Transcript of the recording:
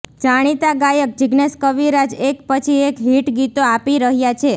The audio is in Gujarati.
જાણીતા ગાયક જિગ્નેશ કવિરાજ એક પછી એક હિટ ગીતો આપી રહ્યા છે